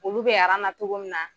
Olu bɛ na togo min na